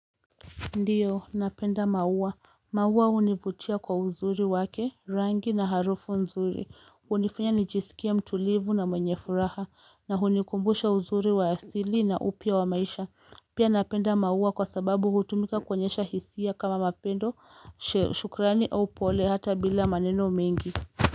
Ndiyo, napenda maua. Maua hunivutia kwa uzuri wake, rangi na harufu nzuri. Hunifanya nijisikia mtulivu na mwenye furaha na hunikumbusha uzuri wa asili na upya wa maisha. Pia napenda maua kwa sababu hutumika kuonyesha hisia kama mapendo, shukrani au pole hata bila maneno mengi.